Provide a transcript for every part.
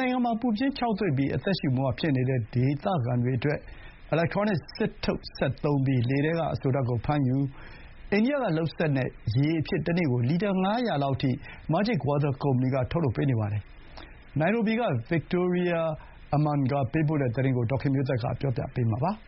နိုင်ငံမှာ ပူပြင်းခြောက်သွေ့ပြီး အသက်ရှူမဝဖြစ်နေတဲ့ ဒေသခံတွေအတွက် ရေရအောင်လုပ်ပေးနေတဲ့ကုမ္ပဏီသစ်က Majik Water ကုမ္ပဏီပါ။ အီလက်ထရောနစ် စစ်ထုတ်စက်ကိုသုံးပြီး လေထဲက အစိုဓါတ်ကိုဖမ်းယူတဲ့ အိန္ဒိယလုပ်စက်နဲ့ထုတ်လုပ်တဲ့ သူ့နည်းပညာက ဒီမိုးခေါင်ရေရှားဒေသအတွက် တနေ့ကို ရေ လီတာ ၅၀၀ လောက်အထိ ဖြန့်ဖြူးပေးနိုင်ပါတယ်။ နိုင်ရိုဘီက Victoria Amunga ပေးပို့တဲ့ သတင်းကို ဒေါ်ခင်မျိုးသက်က တင်ပြပေးထားပါတယ်။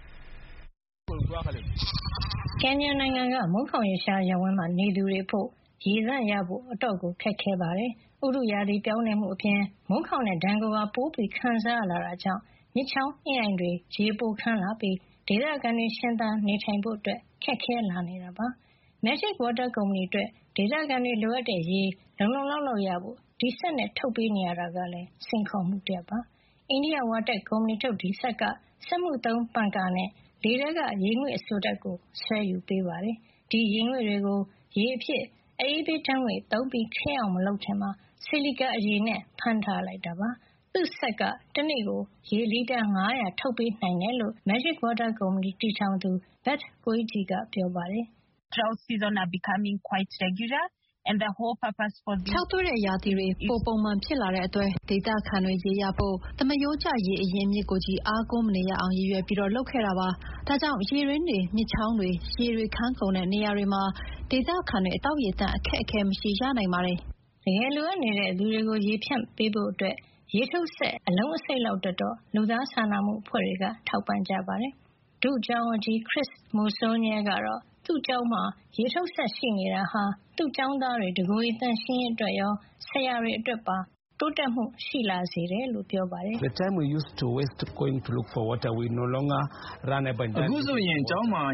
ကင်ညာက မိုးခေါင်ရေရှားရပ်ဝန်းမှာနေသူတွေအဖို့ ရေသန့်ရဖို့ အတော်ခက်ခဲပါတယ်။ ဥတုရာသီပြောင်းလဲမှုအပြင် မိုးခေါင်တဲ့ဒဏ်ကိုပါ ပိုခံစားလာရတဲ့အတွက် မြစ်ချောင်း၊ အင်းအိုင်တွေ ရေပိုခန်းလာပြီး ဒေသခံတွေ ရှင်သန်နေထိုင်ဖို့ ခက်ခဲလာနေတာပါ။ Majik Water ကုမ္ပဏီအတွက် ဒေသခံတွေလိုအပ်တဲ့ရေ လုံလုံလောက်လောက်ရဖို့ ဒီစက်နဲ့ထုတ်ပေးနေရတာကလည်း စိန်ခေါ်မှုတရပ်ဖြစ်ပါတယ်။ အိန္ဒိယ WaTech ကုမ္ပဏီထုတ် ဒီစက်က စက်မှုသုံးပန်ကာနဲ့ လေထဲက ရေငွေ့အစိုဓါတ်ကို ဆွဲယူပေးပါတယ်။ ဒီရေငွေ့တွေကို ရေအဖြစ် အအေးပေးဓါတ်ငွေ့သုံးပြီး ခဲအောင်မလုပ်ခင်မှာ ဆီလီကာအရည်နဲ့ ဖမ်းထားလိုက်တာပါ။ သူ့စက်က တနေ့ကို ရေ လီတာ ၅၀၀ ထုတ်ပေးနိုင်တယ်လို့ Majik Water ကုမ္ပဏီတည်ထောင်သူ Beth ကိုအိဂျီ Koigi ကပြောပါတယ်။ ''ခြောက်သွေ့တဲ့ရာသီတွေ ပိုပုံမှန်ဖြစ်လာတဲ့အတွက် ဒေသခံတွေ ရေရဖို့၊ သမရိုးကျ ရေအရင်းအမြစ်ကိုချည်း အားကိုးမနေရအောင် ရည်ရွယ်ပြီးလုပ်ခဲ့တာပါ။ ဒါကြောင့် ရေတွင်းတွေ မြစ်ချောင်းတွေ ရေတွေခန်းကုန်တဲ့နေရာတွေမှာ ဒေသခံတွေအတွက် သောက်ရေသန့် အခက်အခဲမရှိရနိုင်ပါတယ်။” တကယ်လိုအပ်နေတဲ့ ချို့တဲ့သူတွေကို ရေဖြန့်ဖြူးပေးဖို့ ရေထုတ်စက် အနည်းဆုံး အလုံးအစိတ်လောက်အတွက် လူသားစာနာမှုအဖွဲ့တွေက လှူဒါန်းထောက်ပံ့ကြပါတယ်။ ဒုကျောင်းအုပ်ကြီး Chris Musonye ကတော့ သူ့ကျောင်းမှာ ရေထုတ်စက်ရှိနေတာဟာ သူ့ကျောင်းသားတွေ တကိုယ်ရေသန့်ရှင်းရေးအတွက်ရော ဆရာတွေအတွက်ပါ တိုးတက်မှုရှိလာစေတယ်လို့ ပြောပါတယ်။ ''အခုဆိုကျောင်းမှာ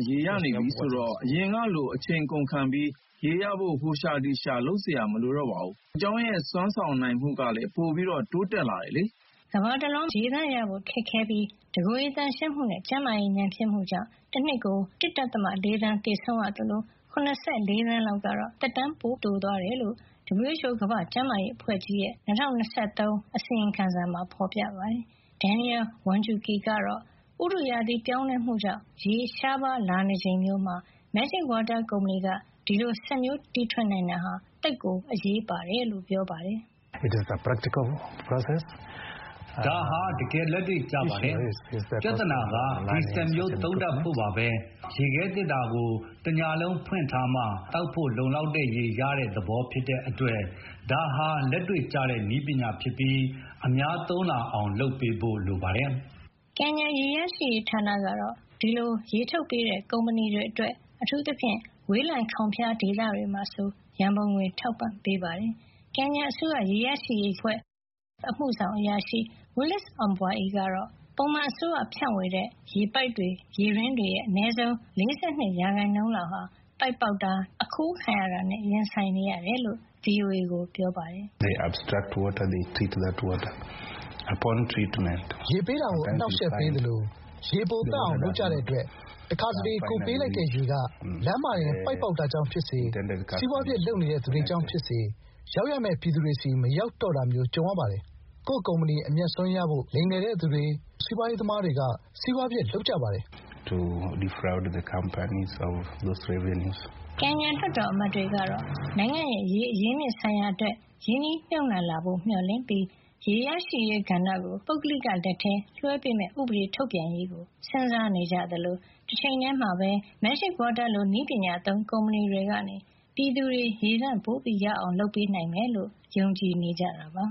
ရေရနေပြီဆိုတော့၊ အရင်ကလို အချိန်ကုန်ခံပြီး ရေရဖို့ ဟိုရှာဒီရှာ လုပ်စရာ မလိုတော့ဘူး။ ဒါကြောင့် ကျောင်းရဲ့ စွမ်းဆောင်နိုင်မှုလည်း ပိုပြီး တိုးတက်လာတယ်လေ။” ကမ္ဘာတလွှားမှာ ရေသန့်ရဖို့ ခက်ခဲပြီး တကိုယ်ရေသန့်ရှင်းရေးနဲ့ ကျန်းမာရေး ညံ့ဖျင်းမှုကြောင့် တနှစ်ကို လူပေါင်း ၁.၄ သန်း သေဆုံးရသလို ၇၄ သန်းလောက်ကတော့ သက်တမ်း ပိုတိုသွားတယ်လို့ WHO ကမ္ဘာ့ကျန်းမာရေးအဖွဲ့ကြီးရဲ့ ၂၀၂၃ အစီရင်ခံစာမှာ ဖေါ်ပြထားပါတယ်။ ကင်ညာ သဘာဝဝန်းကျင်အရေးဆောင်ရွက်သူ Daniel ဝမ်ဂျူကီ Wanjuki ကတော့ ဥတုရာသီ ပြောင်းလဲမှုကြောင့် ရေရှားပါးလာနေချိန်မျိုးမှာ Majik Water ကုမ္ပဏီက ဒီလိုစက်မျိုး တီထွင်နိုင်တာဟာ သိပ်ကိုအရေးပါတယ်လို့ ပြောပါတယ်။ ''ဒါဟာ တကယ်လက်တွေ့ကျပါတယ်။ ပြဿနာက ဒီစက်မျိုးသုံးတတ်ဖို့ပဲ။ ဒါက ရေခဲသေတ္တာကို တညလုံးဖွင့်ထားမှ မနက်ကျ ကိုယ်သောက်ဖို့ လုံလောက်တဲ့ရေ ရတဲ့သဘော ဖြစ်တဲ့အတွက် ဒါဟာ လက်တွေ့ကျတဲ့ နည်းပညာဖြစ်ပြီး အများသုံးလာအောင် လုပ်ပေးဖို့ လိုပါတယ်။” ကင်ညာရေရရှိရေးဌာနကတော့ ဒီလိုရေထုတ်ပေးတဲ့ ကုမ္ပဏီတွေအတွက် အထူးသဖြင့် ဝေးလံခေါင်ဖျားဒေသတွေမှာဆို ရံပုံငွေထောက်ပံ့ပေးပါတယ်။ ကင်ညာအစိုးရ ရေရရှိရေး WSTF အမှုဆောင်အရာရှိ Willis Ombai ကတော့ ပုံမှန်အစိုးရ ဖြန့်ဝေတဲ့ ရေပိုက်တွေ ရေတွင်းတွေရဲ့ အနည်းဆုံး ၄၂ ရာခိုင်နှုန်းလောက်ဟာ ပိုက်ပေါက်တာ ဒါမှမဟုတ် အခိုးခံရတာနဲ့ ရင်ဆိုင်နေရတယ်လို့ VOA ကိုပြောပါတယ်။ ''ရေပေးတာကို အနှောင့်အယှက်ပေးသလို ရေပိုသန့်အောင်လုပ်ကြတဲ့အတွက် တခါတလေ ကိုယ်ပေးလိုက်တဲ့ရေက လမ်းမှာတင် ပိုက်ပေါက်တာကြောင့်ဖြစ်စေ၊ စီးပွါးဖြစ်လုပ်နေတဲ့သူတွေကြောင့်ဖြစ်စေ၊ ရောက်ရမယ့် ပြည်သူတွေဆီ မရောက်တော့တာမျိုး ကြုံရပါတယ်။ ကိုယ့်ကုမ္ပဏီ အမြတ်အစွန်းရဖို့ လိမ်လည်တဲ့သူတွေ ဒါမှမဟုတ် စီးပွါးရေးသမားတွေက စီးပွါးဖြစ်လုပ်ကြပါတယ်။” ကင်ညာလွှတ်တော်အမတ်တွေကတော့ နိုင်ငံ့ရဲ့ ရေအရင်းအမြစ်ဆိုင်ရာအတွက် ရင်းနှီးမြှုပ်နှံလာဖို့ မျှော်လင့်ပြီး ရေရရှိရေးကဏ္ဍကို ပုဂ္ဂလိက လက်ထဲလွှဲပေးမယ့် ဥပဒေထုတ်ပြန်ရေးကို စဉ်းစားနေကြ သလို တချိန်တည်းမှာပဲ Majik Water လို နည်းပညာသုံး ကုမ္ပဏီတွေကနေ ပြည်သူတွေ ရေသန့်ပိုရအောင် လုပ်ပေးနိုင်မယ်လို့ ယုံကြည်နေကြတာပါ